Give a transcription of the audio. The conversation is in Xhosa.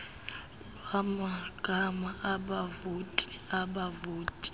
lwamagama abavoti abavoti